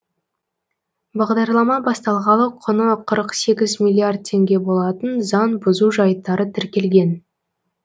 бағдарлама басталғалы құны қырық сегіз миллиард теңге болатын заң бұзу жайттары тіркелген